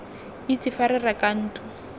itse fa re reka ntlo